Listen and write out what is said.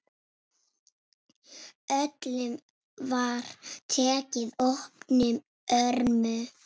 Öllum var tekið opnum örmum.